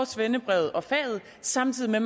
svendebrevet og faget samtidig med